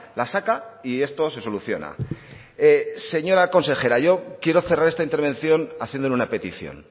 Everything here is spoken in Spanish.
la saca y esto se soluciona señora consejera yo quiero cerrar esta intervención haciéndole una petición